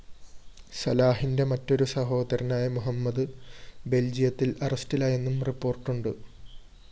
സലാഹിന്റെ മറ്റൊരു സഹോദരനായ മുഹമ്മദ് ബെല്‍ജിയത്തില്‍ അറസ്റ്റിലായെന്നും റിപ്പോര്‍ട്ടുണ്ട്